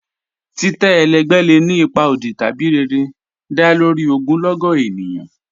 Titẹ́ ẹlẹgbẹ lẹ́ ni ipa ọdì tabi rẹ̀rẹ̀, dá lórí ogunlọ́gọ̀ ènìyàn